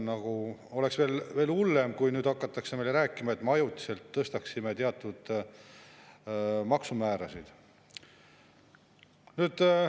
Oleks veel hullem, kui nüüd hakataks meile rääkima, et ajutiselt tõstetakse teatud maksumäärasid.